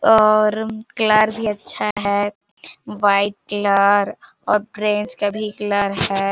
और कलर भी अच्छा है वाइट कलर और ऑरेंज का भी कलर है।